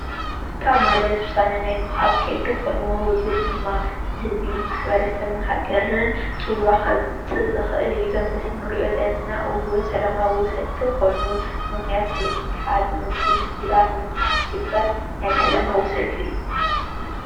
ፖለቲካ ማለት ውሳነ ናይ ምሃብ ከይዲ ኾይኑ እዙይ ድማ ንህዝቢ፣ ,ማሕረሰብን ሃገርን ፅልዋ ከምፅእ ዝክእል እዩ ። እዙይ ኣብ ምስሊ እንሪእዮ ዘለና እውን ሰላማዊ ሰልፊ ኾይኑ ብምክንያት ፖለቲካ ዝመፁ ችግራት ንምፍታሕ ዝግበር ናይ ሰላማዊ ሰልፊ እዩ።